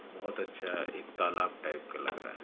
बहुत अच्छा एक तालाब टाइप का लग रहा है।